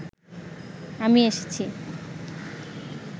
আমি এসেছি